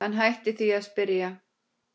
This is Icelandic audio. Hann hætti því að spyrja.